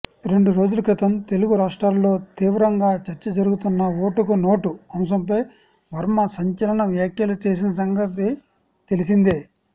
రెండురోజులక్రితం తెలుగు రాష్ట్రాలలో తీవ్రంగా చర్చ జరుగుతున్న ఓటుకు నోటు అంశంపై వర్మ సంచలన వ్యాఖ్యలు చేసిన సంగతి తెలిసిందే